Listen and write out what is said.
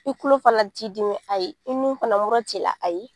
I tulo fana t'i dimi, ayi, i nun fana mura t'i la ayi.